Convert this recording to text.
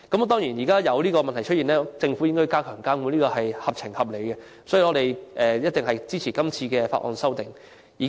當然，這問題出現後，政府加強監管實屬合情合理，所以，我們一定支持今次的《條例草案》。